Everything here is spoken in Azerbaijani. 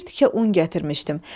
Bir tikə un gətirmişdim.